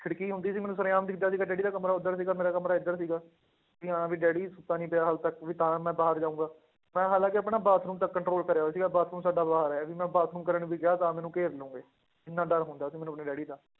ਖਿੜਕੀ ਹੁੰਦੀ ਸੀ ਮੈਨੂੰ ਸਰੇਆਮ ਦਿਸਦਾ ਸੀਗਾ ਡੈਡੀ ਦਾ ਕਮਰਾ ਉੱਧਰ ਸੀਗਾ ਮੇਰਾ ਕਮਰਾ ਇੱਧਰ ਸੀ, ਵੀ ਹਾਂ ਵੀ ਡੈਡੀ ਸੁੱਤਾ ਨੀ ਪਿਆ ਹਾਲੇ ਤੱਕ ਵੀ ਤਾਂ ਮੈਂ ਬਾਹਰ ਜਾਊਂਗਾ, ਮੈਂ ਹਾਲਾਂਕਿ ਆਪਣਾ ਬਾਥਰੂਮ ਤੱਕ control ਕਰਿਆ ਹੋਇਆ ਸੀਗਾ ਬਾਥਰੂਮ ਸਾਡਾ ਬਾਹਰ ਹੈ ਵੀ ਮੈਂ ਬਾਥਰੂਮ ਕਰਨ ਵੀ ਗਿਆ ਤਾਂ ਮੈਨੂੰ ਘੇਰ ਲਓਗੇ, ਇੰਨਾ ਡਰ ਹੁੰਦਾ ਸੀ ਮੈਨੂੰ ਆਪਣੇ ਡੈਡੀ ਦਾ